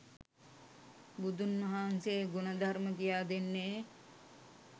බුදුන් වහන්සේ ගුණ ධර්ම කියා දෙන්නේ